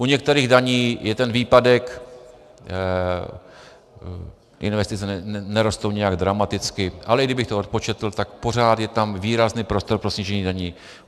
U některých daní je ten výpadek, investice nerostou nijak dramaticky, ale i kdybych to odpočetl, tak pořád je tam výrazný prostor pro snížení daní.